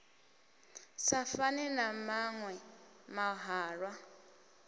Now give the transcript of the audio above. sa fane na maṅwe mahalwa